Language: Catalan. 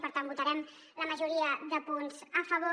per tant votarem la majoria de punts a favor